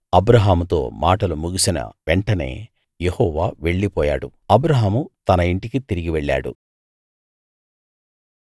అబ్రాహాముతో మాటలు ముగిసిన వెంటనే యెహోవా వెళ్ళిపోయాడు అబ్రాహాము తన ఇంటికి తిరిగి వెళ్ళాడు